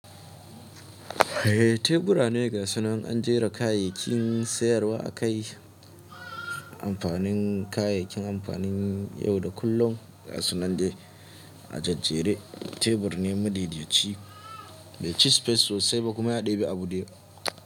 Eh, teburane gasunan an jera kayayyakin sayarwa akai. Amfanin kayayyakin amfanin ya yau da kullum, ga sunan da a jajjere. Tebur ne madaidaci, bai ci space sosai ba kuma ya ɗebi abu dayawa.